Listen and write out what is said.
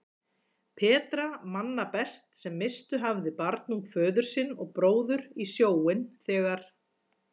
Petra manna best sem misst hafði barnung föður sinn og bróður í sjóinn þegar